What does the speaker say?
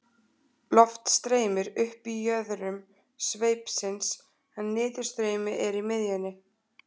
Loft streymir upp í jöðrum sveipsins en niðurstreymi er í miðjunni.